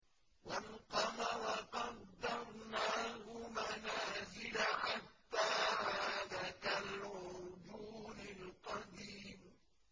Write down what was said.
وَالْقَمَرَ قَدَّرْنَاهُ مَنَازِلَ حَتَّىٰ عَادَ كَالْعُرْجُونِ الْقَدِيمِ